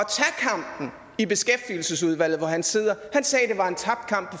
gad i beskæftigelsesudvalget hvor han sidder han sagde at det var en tabt kamp